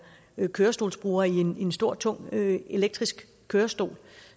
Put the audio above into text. kørestolsbruger i en stor tung elektrisk kørestol